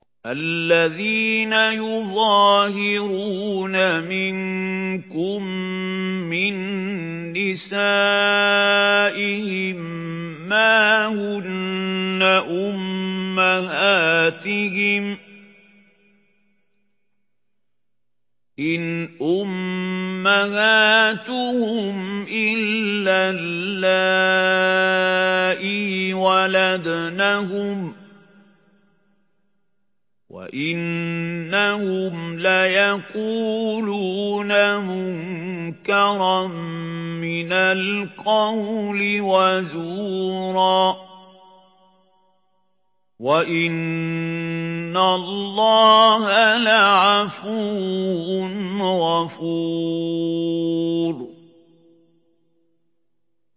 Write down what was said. الَّذِينَ يُظَاهِرُونَ مِنكُم مِّن نِّسَائِهِم مَّا هُنَّ أُمَّهَاتِهِمْ ۖ إِنْ أُمَّهَاتُهُمْ إِلَّا اللَّائِي وَلَدْنَهُمْ ۚ وَإِنَّهُمْ لَيَقُولُونَ مُنكَرًا مِّنَ الْقَوْلِ وَزُورًا ۚ وَإِنَّ اللَّهَ لَعَفُوٌّ غَفُورٌ